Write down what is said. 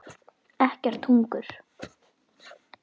Ekkert hungur.